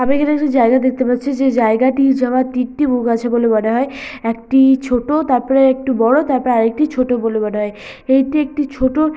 আমি এখানে একটি জায়গা দেখতে পাচ্ছি যে জায়গাটি যাওয়ার তিনটি মুখ আছে বলে মনে হয় একটি ছোট তারপরে একটু বড় তারপরে আরেকটি ছোট বলে মনে হয় এইটি একটি ছোট--